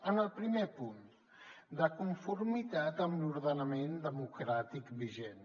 en el primer punt de conformitat amb l’ordenament democràtic vigent